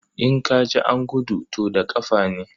In ka ji an gudu, to da ƙafa ne.